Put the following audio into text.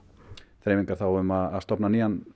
þreifingar þá um að stofna nýjan